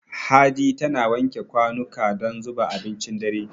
Hadi tana wanke kwanuka don zuba abincin dare.